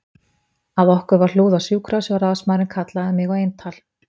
Að okkur var hlúð á sjúkrahúsi og ráðsmaðurinn kallaði mig á eintal